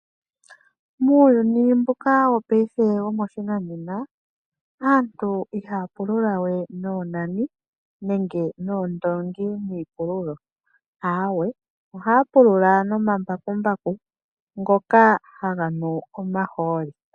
Muuyuni mbuka wopaife wopashinanena aantu ihaa pulula wee noonanani I nenge noondoongi niipululo aawe. Ohaa pulula nomambakumbaku ngoka haga nu omahooli.